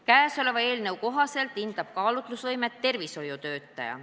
Käesoleva eelnõu kohaselt hindab piiratud teovõimega isiku kaalutlusvõimet tervishoiutöötaja.